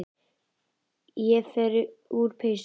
Ég fer úr peysunni.